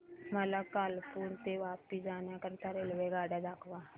मला कालुपुर ते वापी जाण्या करीता रेल्वेगाड्या दाखवा